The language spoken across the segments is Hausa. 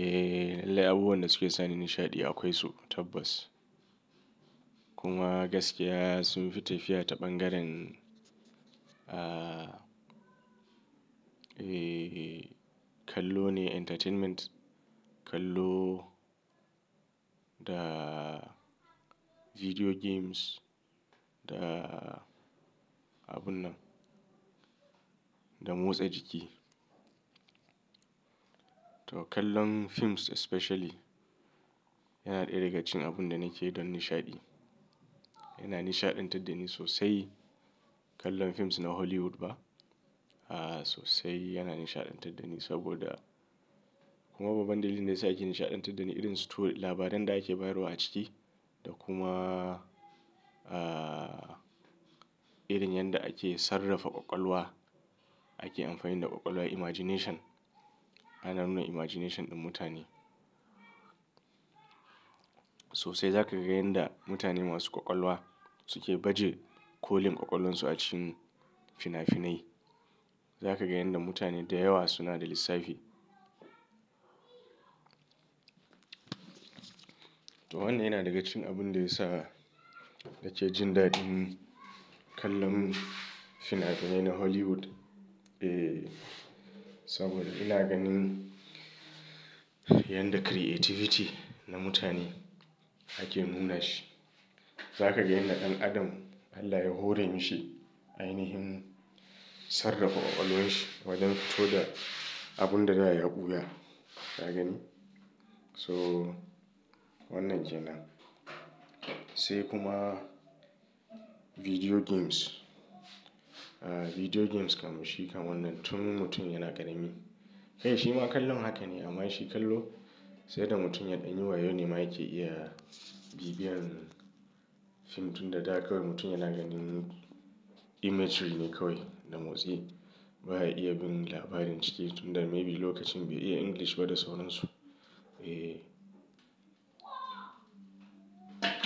Eh, lallai abubuwan da suke sani nishaɗi akwai su tabbas. Kuma gaskiya sunfi tafiya ta ɓangaren, kallo ne entertainment. Kallo da video games da abun nan, da motsa jiki. To kallon films especially yana ɗaya daga cikin abun da nake don nishaɗi. Yana nishaɗantar da ni sosai. Kallon films na Hollywood ba. Sosai yana nishaɗantar da ni saboda, kuma babban dalilin da ya sa yake nishaɗantar da ni irin story labaran da ake bayarwa a ciki da kuma, irin yanda ake sarrafa ƙwaƙwalwa. Ake amfani da ƙwaƙwalwa imagination, ana nuna imagination ɗin mutane. Sosai za ka ga yadda mutane masu ƙwaƙwalwa suke baje kolin ƙwaƙwalwarsu a cikin fina-finai. Za ka ga yadda mutane da yawa suna da lissafi. To wannan yana daga cikin abun da ya sa nake jin daɗin kallon fina-finai na Hollywood. Eh, saboda ina ganin yadda creativity na mutane ake nuna shi. Za ka ga yanda ɗan adam Allah ya hore mi shi ainahin sarrafa ƙwaƙwalwarshi wajen fito da abun da da ya buya. Ka gani? So wannan kenan. Sai kuma video games. Video games kam shi kam wannan tun mutum yana ƙarami. Kai shi ma kallon haka ne amma shi kallo sai da mutum ya ɗan yi wayo ne ma yake iya bibiyan fim tunda da kawai mutum yana ganin imagery ne kawai da motsi. Ba ya iya bin labarin ciki tun da maybe lokacin bai iya English ba da sauran su. Eh.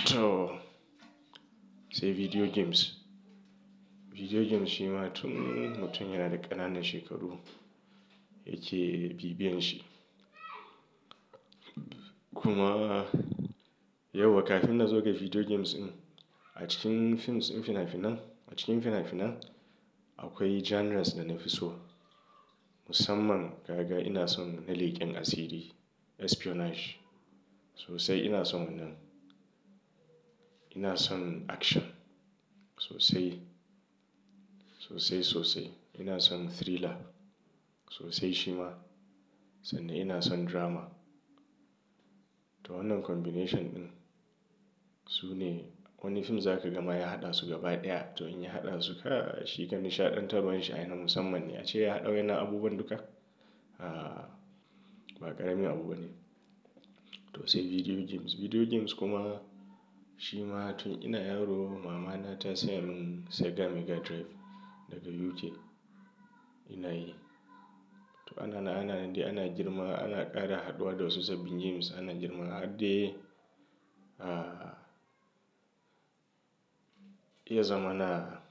To sai video games. Video games shi ma tun mutum yana da ƙananan shekaru yake bibiyan shi. Kuma yauwa kafin na zo ga video games din a cikin films din fina-finan, a cikin fina-finan akwai genres da na fi so. Musamman kaga ina son na leken asiri espionage. Sosai ina son wannan. Ina son action sosai, sosai sosai. Ina son thriller sosai shi ma, sannan ina son drama. To wannan combination din sune wani fim zaka gama ya haɗa su gaba ɗaya. To in ya haɗa su kai shi fa nishaɗantarwar shi ai na musamman ne. Ace ya haɗa wa'yannan abubuwan duka. Ba ƙaramin abu bane. To sai video games. Video games kuma shi ma tun ina yaro mama na ta siya min Sega Mega Drive daga UK. Ina yi. To ananan ananan dai ana girma ana ƙara haɗuwa da wasu sabbin games. Ana girma har dai, ya zamana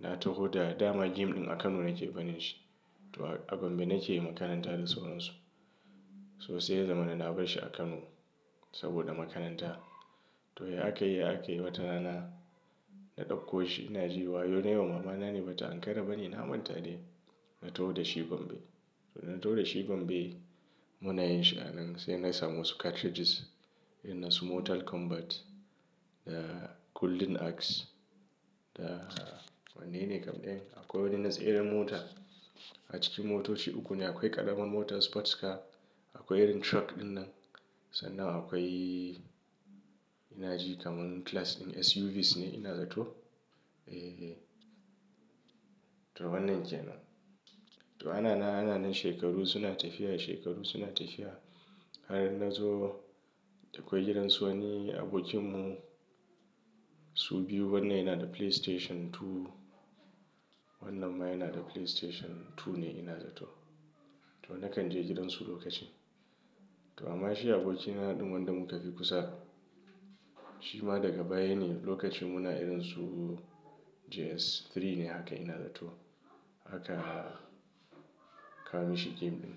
na taho da dama game ɗin a Kano nake barin shi. To a gombe nake makaranta da sauran su. To sai ya zamana na bar shi a Kano saboda makaranta. To ya akai ya akai wata rana na ɗakko shi. Ina ji wayo na yiwa mamana ne bata ankara bane. Na manta dai na taho da shi gombe. To dana taho da shi gombe muna yin shi a nan sai na samu wasu cartridges. Na su Mortal Kombat da Golden Axe da wanne kam ɗayan. Akwai wanda yana tseran mota. A cikin motoci uku ne. Akwai ƙarama mota sports car. Akwai irin truck ɗin nan. Sannan akwai ina ji kamun class ɗin SUVs ne ina zato. E, to wannan kenan. To anana ananan shekaru suna tafiya shekaru suna tafiya. Har na zo da kwai gidan su wani abokinmu. Su biyu wannan yana da PlayStation 2. Wannan ma yana da PlayStation 2 ne ina zato. To na kan je gidan su lokaci. To amma shi abokina ɗin nan da muka fi kusa. Shi ma daga baya ne lokacin muna irin su JS3 ne haka ina zato. Aka kawo mishi game ɗin.